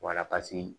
Wala paseke